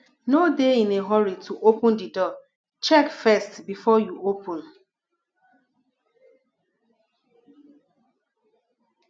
no dey in a hurry to open di door check first before you open